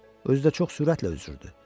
Özü də çox sürətlə üzürdü.